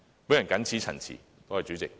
我謹此陳辭，多謝主席。